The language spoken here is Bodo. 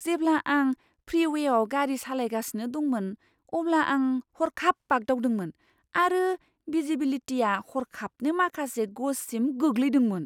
जेब्ला आं फ्रीवेआव गारि सालायगासिनो दंमोन अब्ला आं हरखाब बाग्दावदोंमोन आरो भिजिबिलिटिआ हरखाबनो माखासे गजसिम गोग्लैदोंमोन।